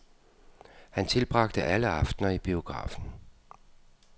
Han tilbragte alle aftener i biografen.